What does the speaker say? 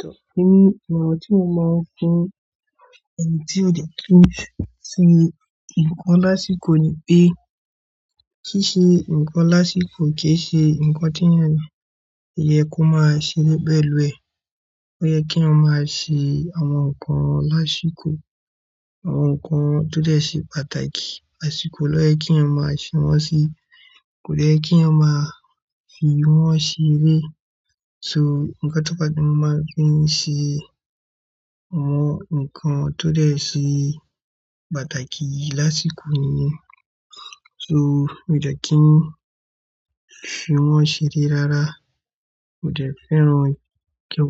Tọ́ emi, ìmọ̀ràn tí mo máa ń fun, ènítí òye kio se nǹkan lásìkò ni pé ṣíṣe nǹkan lásìkò kì í ṣe nǹkan tí eeyan ni. Ìyẹ kó máa ṣe bẹ́ẹ̀ lú ẹ. Ó yẹ kí èèyàn máa ṣe àwọn nǹkan lásìkò. Àwọn nǹkan tó dẹ́ ṣe pàtàkì ásìkò ló yẹ kí èèyàn máa ṣe wọ́n sí. Kò yẹ kí a máa fi wọ́n ṣeré. So, nǹkan tó bá ti máa fin ṣé àwọn nǹkan tó dẹ́ ṣe pàtàkì lásìkò nìyẹn. So, mi ò dẹ́ kí n fi wọ́n ṣeré rárá. Mò dẹ́ fẹ́ràn kí